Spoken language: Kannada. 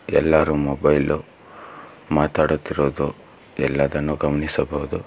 ಎಲ್ಲಾರು ಮೊಬೈಲು ಮಾತಾಡುತ್ತಿರುವುದು ಎಲ್ಲದನ್ನು ಗಮನಿಸಬಹುದು.